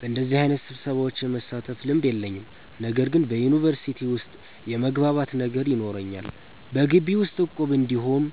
በደዚህ አይነት ስብሰሻዎች የመሳተፍ ልምድ የለኝም። ነገር ግን በዩኒቨርሲቲ ዉስጥ የመግባባት ነገር ይኖረናል። በጊቢ ዉስጥ እቁብ እንዲሁም